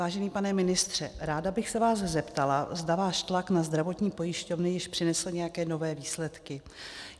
Vážený pane ministře, ráda bych se vás zeptala, zda váš tlak na zdravotní pojišťovny již přinesl nějaké nové výsledky.